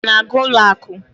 ị na-aga ụlọ akụ?